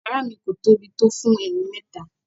Yàrá mi kò tóbi tó fún ẹni mẹ́ta.